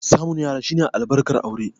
Samun 'ya'ya shine albarkar aure.